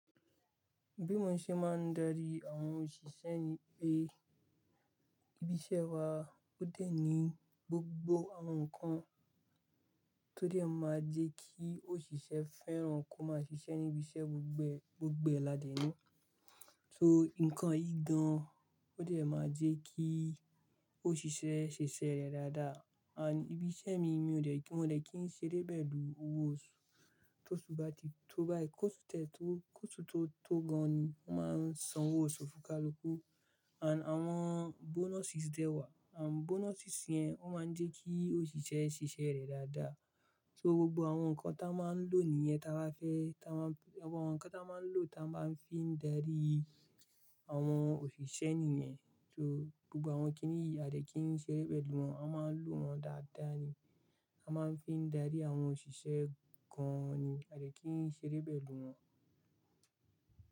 Bí mo ṣe máa ń darí àwọn òṣìṣẹ́ ni pé, ibi iṣẹ́ wa ó dẹ̀ ní gbogbo àwọn nǹkan tó dẹ̀ máa jẹ́ kí òṣìṣẹ́ fẹ́ràn kó máa ṣiṣẹ́ níbi iṣẹ́ gbogbe, gbogbe lá dè ni. So nǹkan yi gan an o dẹ̀ máa jẹ́ kí òṣìṣẹ́ ṣiṣẹ́ rẹ̀ dáadáa. And ibi iṣẹ́ mi mi ò dẹ̀ kí, mo dẹ̀ kí ń ṣeré pẹ̀lú owó oṣù, tó oṣú bà tí tó bá yí kó osu tètè tó, kó osu tó tó gan an ni, wọ́n máa ń san owó oṣù fún ká lu kú. And àwọn bonuses dẹ̀ wà, and bonuses yẹn ó máa ń jẹ́ kí òṣìṣẹ́ ṣiṣẹ́ rẹ̀ dáadáa. So gbogbo àwọn nǹkan tí a máa ń lò nì yẹn tí a bá fẹ́, tí a máa ń, àwọn nǹkan tí a máa ń lò tí a bá máa fi ń darí àwọn òṣìṣẹ́ nìyẹn. So gbogbo àwọn kí ǹ yìí a dẹ̀ kí ń ṣeré pẹ̀lú wọn, a máa ń lo wọ́n dáadáa ni. A máa ń fi ń darí àwọn òṣìṣẹ́ gan an ni, a dẹ̀ kí ń ṣeré pẹ̀lú wọn.